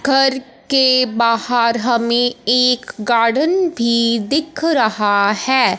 घर के बाहर हमें एक गार्डन भी दिख रहा है।